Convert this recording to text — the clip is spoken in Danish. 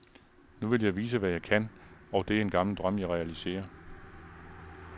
Nu vil jeg vise hvad jeg kan, og det er en gammel drøm jeg realiserer.